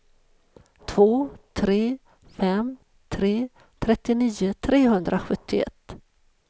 två tre fem tre trettionio trehundrasjuttioett